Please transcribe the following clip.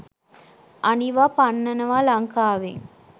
අනිවා පන්නනවා ලංකාවෙන්